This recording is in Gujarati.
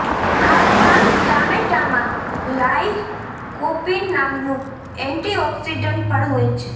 આ ઉપરાંત ટામેટામાં લાઇકોપીન નામનું એન્ટિઓક્સિડન્ટ પણ હોય છે